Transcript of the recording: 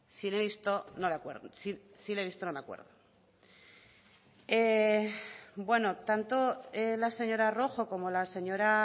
si le he visto no me acuerdo tanto la señora rojo como la señora